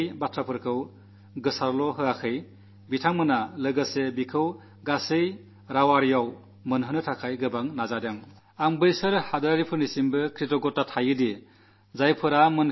എന്റെ ഈ വാക്കുകൾ പ്രസാരണം ചെയ്യുക മാത്രമല്ല എല്ലാ ഭാഷകളിലും എത്തിക്കാനും വളരെയേരെ പരിശ്രമിച്ചതിന് ആകാശവാണിയോടും കൃതജ്ഞനാണ്